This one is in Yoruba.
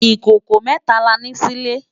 Ikókó mètá lá ni silé